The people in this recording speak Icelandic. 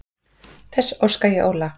Þess óska ég Óla.